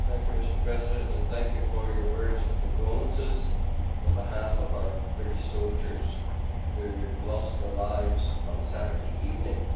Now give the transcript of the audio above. Mr President, thank you for your words of condolence on behalf of our British soldiers who lost their lives on Saturday evening.